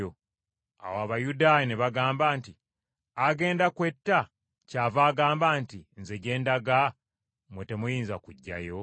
Awo Abayudaaya ne bagamba nti, “Agenda kwetta kyava agamba nti, ‘Nze gye ndaga, mmwe temuyinza kujjayo?’ ”